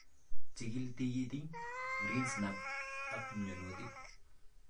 Chikil tikiitik, greensnap ak myaanwokik